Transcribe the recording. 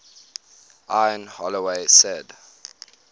ian holloway said